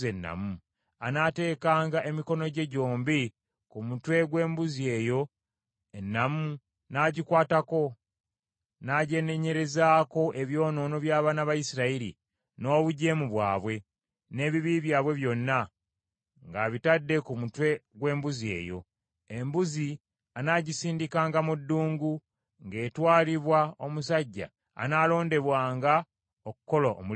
Anaateekanga emikono gye gyombi ku mutwe gw’embuzi eyo ennamu n’agikwatako, n’agyenenyerezaako ebyonoono by’abaana ba Isirayiri, n’obujeemu bwabwe, n’ebibi byabwe byonna, ng’abitadde ku mutwe gw’embuzi eyo. Embuzi anaagisindikanga mu ddungu ng’etwalibwa omusajja anaalondebwanga okukola omulimu ogwo.